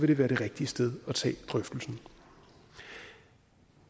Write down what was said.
det være det rigtige sted at tage drøftelsen